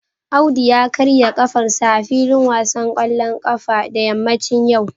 Audu ya karya kafarsa a filin wasan kwallon kafa da yammacin yau